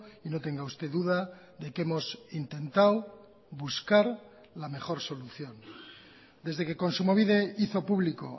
y no tenga usted duda de que hemos intentado buscar la mejor solución desde que kontsumobide hizo público